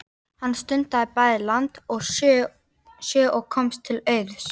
Hann stundaði bæði land og sjó og komst til auðs.